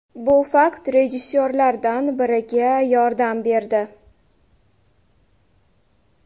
Bu fakt rejissyorlardan biriga yordam berdi.